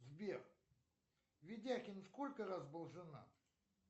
сбер ведяхин сколько раз был женат